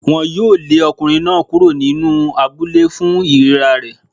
Wọ́n á lé ọkùnrin náà kúrò nínú abúlé fún ìríra rẹ̀.